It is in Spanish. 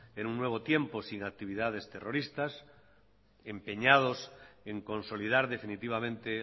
en nuevo tiempo sin actividades terroristas empeñados en consolidar definitivamente